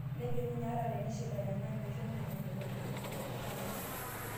Nejo ninye hata enishinda nena meisho ninnye metolimu ina enkishui enye